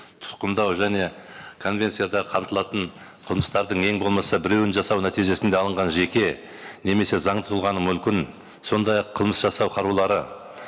тұтқындау және конвенцияда қамтылатын қылмыстардың ең болмаса біреуін жасау нәтижесінде алынған жеке немесе заңды тұлғаны мүмкін сондай ақ қылмыс жасау қарулары